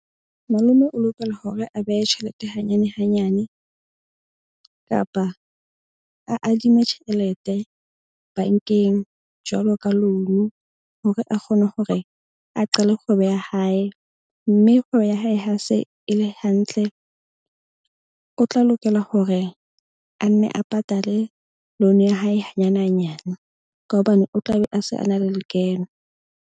Malome o lokela hore a behe tjhelete hanyane hanyane kapa a adime tjhelete bank-eng jwalo ka loan-u, hore a kgone gore a qale kgwebo ya hae. Mme kgwebo ya hae ha se e le hantle, o tla lokela gore a nne a patale loan ya hae hanyane hanyane ka hobane o tla be a se a na le lekeno.